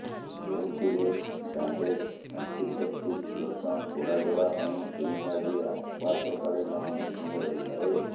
ଯେଉଁଥିରେ bandage antiseptic lotion ପୋଡାଜଳା ପାଇଁ କ୍ରୀମ୍ ଆଦି ଆପାତ୍ତକାଳୀନ ମେଡିସିନ୍ ରହିଥାଏ